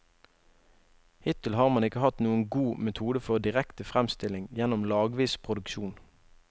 Hittil har man ikke hatt noen god metode for direktefremstilling gjennom lagvis produksjon.